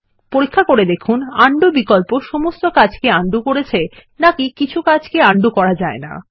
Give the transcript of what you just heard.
পরীক্ষা করে দেখুন উন্ডো বিকল্প সমস্ত কর্ম কে উন্ডো করেছে নাকি কিছু কাজকে উন্ডো করা যায়না